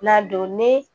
N'a don ne